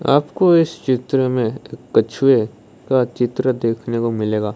आपको इस चित्र में कछुए का चित्र देखने को मिलेगा।